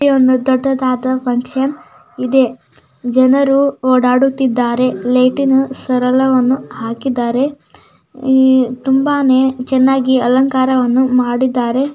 ಇಲ್ಲಿ ಒಂದು ದೊಡ್ಡ ದಾದಾ ಫಕ್ಷನ್ ಇದೇ ಜನರು ಓಡಾಡುತಿದ್ದಾರೆ ಲೈಟಿಂಗ್ ಸರಳವನ್ನು ಹಾಕಿದ್ದಾರೆ ತುಂಬಾನೇ ಚೆನ್ನಾಗಿ ಅಲಂಕಾರವನ್ನಾ ಮಾಡಿದ್ದಾರೆ.